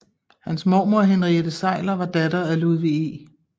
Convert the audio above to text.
Hans mormor Henriette Seyler var datter af Ludwig E